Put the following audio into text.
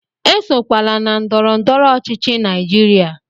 Esokwala na ndọrọ ndọrọ ọchịchị Naijiria!